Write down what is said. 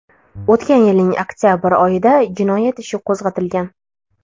O‘tgan yilning oktabr oyida jinoyat ishi qo‘zg‘atilgan.